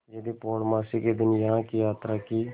यदि पूर्णमासी के दिन यहाँ की यात्रा की